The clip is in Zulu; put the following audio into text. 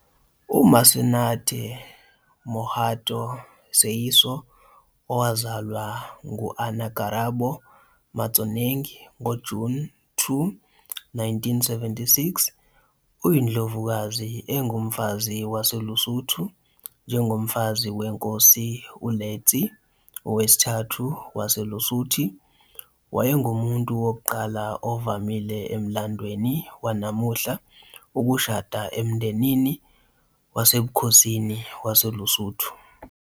UMasenate Mohato Seeiso, owazalwa ngo- Anna Karabo Motšoeneng, ngoJuni 2, 1976, uyindlovukazi engumfazi waseLesotho njengomfazi weNkosi uLetsie III waseLesotho. Wayengumuntu wokuqala ovamile emlandweni wanamuhla ukushada emndenini wasebukhosini waseLesotho.